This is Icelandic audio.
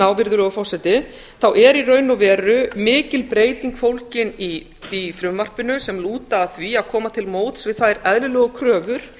á þá er í raun og veru mikil breyting fólgin í frumvarpinu sem lúta að því að koma til móts við þær eðlilegu kröfur